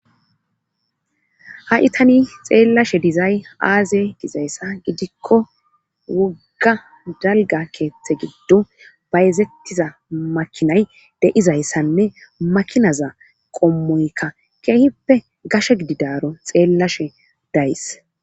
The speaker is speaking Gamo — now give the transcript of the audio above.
ha7i tani xeellashe dizay aaze dizayssa gidikko wogga dalga keeththe giddo bayzettiza makinay de'izayssanne makinaza qommoykka keehippe gashe gididaro xeellashe days